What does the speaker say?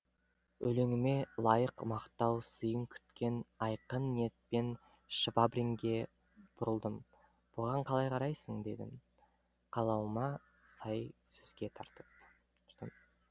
өлеңіме лайық мақтау сыйын күткен айқын ниетпен швабринге бұрылдым бұған қалай қарайсың дедім қалауыма сай сөзге тартып